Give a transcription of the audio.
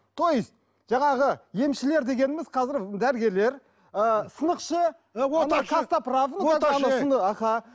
те есть жаңағы емшілер дегеніміз қазір дәрігерлер ыыы сынықшы оташы костоправ оташы аха